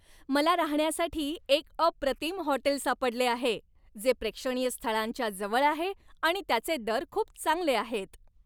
मला राहण्यासाठी एक अप्रतिम हॉटेल सापडले आहे, जे प्रेक्षणीय स्थळांच्या जवळ आहे आणि त्याचे दर खूप चांगले आहेत.